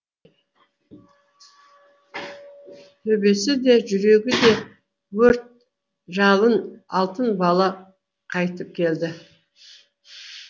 төбесі де жүрегі де өрт жалын алтын бала қайтып келді